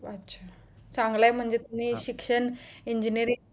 चांगलंय म्हणजे तुम्ही म्हणजे शिक्षण engineering